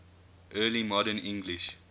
early modern english